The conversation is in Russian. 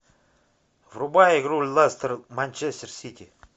врубай игру лестер манчестер сити